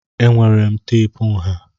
Enwere m teepu nha.